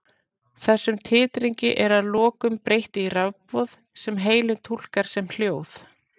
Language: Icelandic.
þessum titringi er að lokum breytt í rafboð sem heilinn túlkar sem hljóð